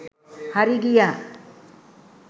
හරි ගියා.